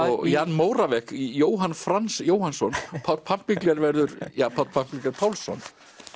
og Jan Jóhann Franz Jóhannsson Páll verður Páll Pálsson